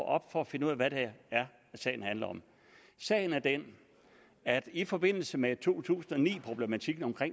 op for at finde ud af hvad det er sagen handler om sagen er den at i forbindelse med to tusind og ni problematikken om